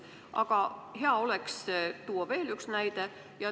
Aga hea oleks, kui tooksite veel ühe näite.